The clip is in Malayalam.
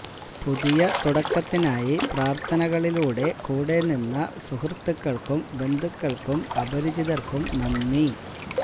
പുതിയ തുടക്കത്തിനായി പ്രാര്ഥനകളിലൂടെ കൂടെ നിന്ന സുഹൃത്തുക്കള്ക്കും ബന്ധുക്കള്ക്കും അപരിചിതര്ക്കും നന്ദി